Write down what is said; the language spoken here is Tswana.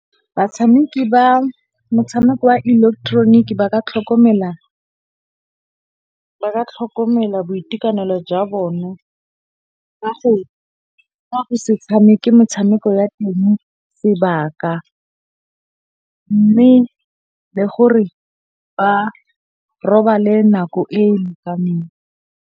Batshameki ba motshameko wa ileketeroniki ba ka tlhokomela boitekanelo jwa bone ka go se tshameke motshameko ya teng sebaka mme le gore ba robale nako e e lekaneng.